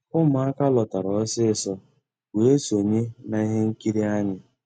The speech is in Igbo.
Ụmụ́àká lọ́tárá ọsísọ weé sonyéé n'íhé nkírí ànyị́.